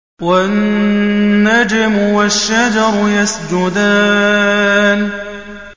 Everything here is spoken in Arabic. وَالنَّجْمُ وَالشَّجَرُ يَسْجُدَانِ